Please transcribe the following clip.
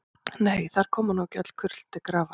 Nei, þar koma nú ekki öll kurl til grafar.